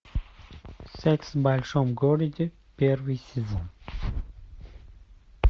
секс в большом городе первый сезон